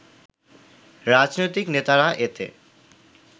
রাজনৈতিক নেতারা এতে